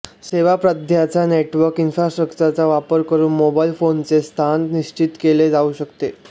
सेवा प्रदात्याच्या नेटवर्क इन्फ्रास्ट्रक्चरचा वापर करून मोबाइल फोनचे स्थान निश्चित केले जाऊ शकते